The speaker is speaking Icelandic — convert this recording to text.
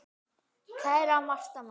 Kæra Marta María.